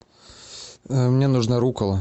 мне нужна рукола